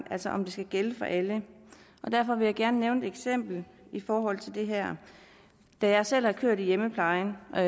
altså om det skal gælde for alle og derfor vil jeg gerne nævne et eksempel i forhold til det her da jeg selv har kørt i hjemmeplejen og